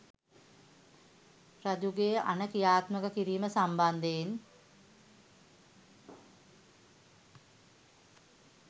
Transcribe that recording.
රජුගේ අණ ක්‍රියාත්මක කිරීම සම්බන්ධයෙන්